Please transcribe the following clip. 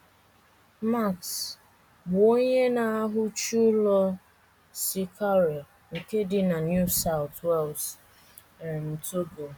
Max, bụ́ onye na - ahuchi ụlọ, si Cowra nke dị na New South Wales, um Togo.